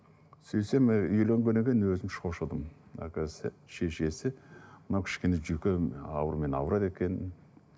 сөйтсем үйленгеннен кейін өзім шошыдым әлгі шешесі мынау кішкене жүйке ауруымен ауырады екен